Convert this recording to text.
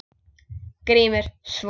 GRÍMUR: Svo?